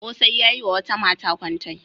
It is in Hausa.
Ƙosai ya yi wa wata mata kwantai.